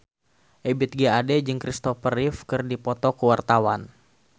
Ebith G. Ade jeung Kristopher Reeve keur dipoto ku wartawan